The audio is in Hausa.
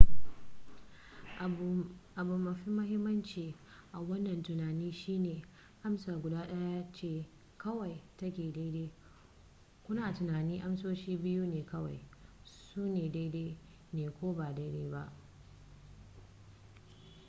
abu mafi mahimmanci a wannan tunanin shine amsa guda daya ce kawai ta ke daidai kuna tunanin amsoshi biyu ne kawai su ne daidai ne ko ba daidai ba